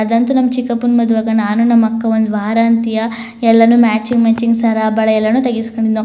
ಅದ್ ಅನ್ನತು ನಮ್ಮ್ ಚಿಕ್ಕಪ್ಪನ ಮದವೆಗೆ ನಾನು ನಮ್ಮ ಅಕ್ಕಾ ಒಂದ್ ವಾರ ಅನ್ನತ್ತಿಯಾ ಎಲ್ಲಾನು ಮ್ಯಾಚಿಂಗ್ ಮ್ಯಾಚಿಂಗ್ ಸರ್ ಬಳ ಎಲ್ಲಾನು ತೇಗ್ಸ್ ಕೋಣಿನೋ.